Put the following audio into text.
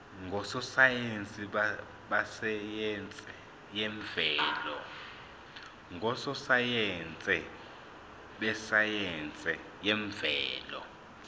ngososayense besayense yemvelo